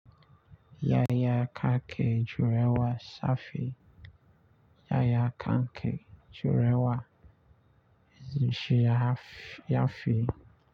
Yaya kake jurewa safe. Yaya kanke jurewa, shi ya fi.